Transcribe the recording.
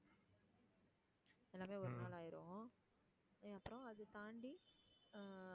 எல்லாமே ஒரு நாள் ஆயிரும். அப்பறம் அதை தாண்டி ஆஹ்